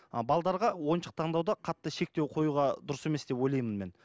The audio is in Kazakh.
а ойыншық таңдауда қатты шектеу қоюға дұрыс емес деп ойлаймын мен